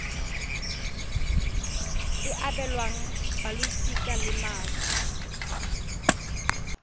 e abelwang balosika la moswi